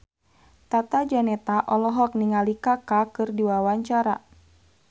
Tata Janeta olohok ningali Kaka keur diwawancara